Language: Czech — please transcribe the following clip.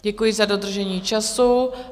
Děkuji za dodržení času.